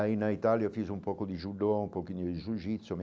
Aí, na Itália, eu fiz um pouco de judô, um pouquinho de jiu-jitsu.